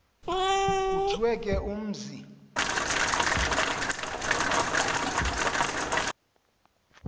kuthiwe ke umzi